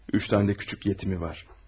Üç dənə də kiçik yetimi var.